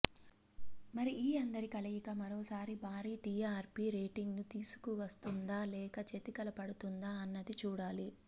మరి ఈ అందరి కలయిక మరోసారి భారీ టీఆర్పీ రేటింగ్ ను తీసుకువస్తుందా లేక చతికిల పడుతుందా అన్నది చూడాలి